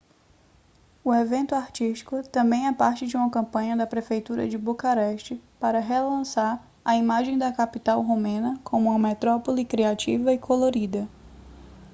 o evento artístico também é parte de uma campanha da prefeitura de bucareste para relançar a imagem da capital romena como uma metrópole criativa e colorida